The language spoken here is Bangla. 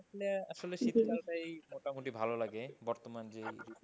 আসলে আসলে শীতকালটাই মোটামুটি ভালো লাগে বর্তমান যে,